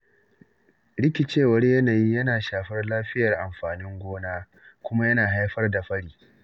Rikicewar yanayi yana shafar lafiyar amfanin gona, kuma ya haifar da fari.